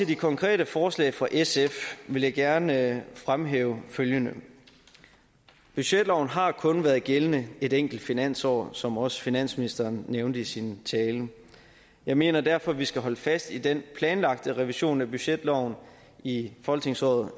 de konkrete forslag fra sf vil jeg gerne fremhæve følgende budgetloven har kun været gældende et enkelt finansår som også finansministeren nævnte i sin tale jeg mener derfor at vi skal holde fast i den planlagte revision af budgetloven i folketingsåret